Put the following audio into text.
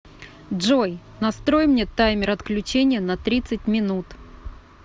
джой настрой мне таймер отключения на тридцать минут